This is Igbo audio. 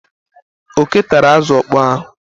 Oké tara azụ ọkpọọ ahụ.